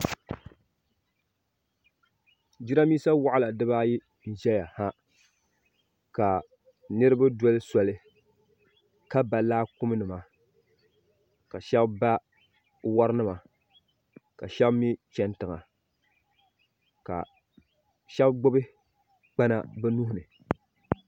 Jirambisa waɣala dibaayi n ʒɛya ha ka niriba doli soli ka ba laakumi nima ka sheba ba worinima ka sheba mee cheni tiŋa ka sheba gbibi kpana bɛ nuhini.